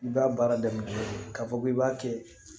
I b'a baara daminɛ k'a fɔ k'i b'a kɛ